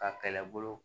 Ka kɛlɛbolo